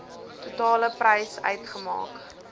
totale prys uitmaak